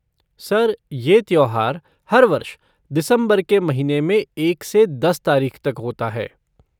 Sir, ये त्योहार हर वर्ष, दिसंबर के महीने में एक से दस तारीख़ तक होता है।